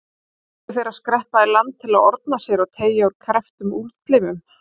Fengu þeir að skreppa í land til að orna sér og teygja úr krepptum útlimum.